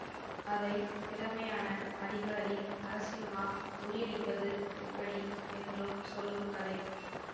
அதை திறமையான அதிகாரி நரசிம்மா முறியடிப்பது எப்படி என்றும் சொல்லும் கதை